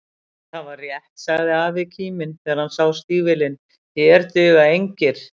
Það var rétt sagði afi kíminn, þegar hann sá stígvélin, hér duga engir